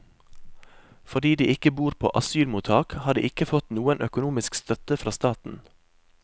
Fordi de ikke bor på asylmottak, har de ikke fått noen økonomisk støtte fra staten.